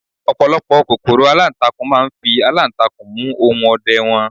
ọpọlọpọ kòkòrò alantakun ma n fi alantakun mu ohun ọdẹ wan